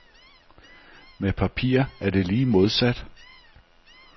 Med papir er det lige modsat.